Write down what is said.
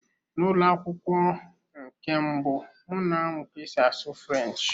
N'ụlọ akwụkwọ nke mbụ, m na-amụ ka esi asụ French.